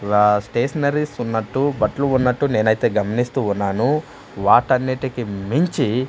రా స్టేషనరీస్ ఉన్నట్టు బట్లు ఉన్నటు నేనైతే గమనిస్తూ ఉన్నాను వాటాన్నిటికి మించి--